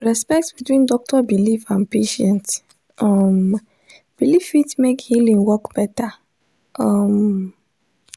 respect between doctor belief and patient um belief fit make healing work better. um